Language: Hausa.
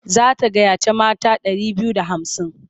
Za ta gayyaci mata ɗari biyu da hamsin.